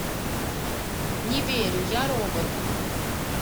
не верю я робот